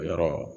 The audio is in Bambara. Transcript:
O yɔrɔ